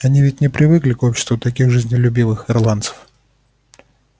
они ведь не привыкли к обществу таких жизнелюбивых ирландцев